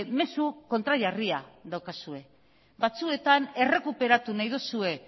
mezu kontrajarria daukazue batzuetan errekuperatu nahi duzue